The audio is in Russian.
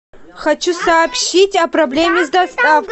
хочу сообщить о проблеме с доставкой